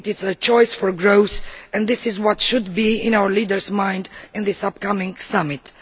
it is a choice for growth and this is what should be in our leadersʼ minds at this upcoming Summit.